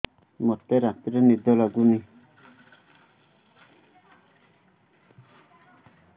ମୋତେ ରାତିରେ ନିଦ ଲାଗୁନି